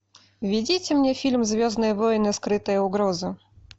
введите мне фильм звездные войны скрытая угроза